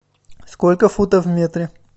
сколько футов в метре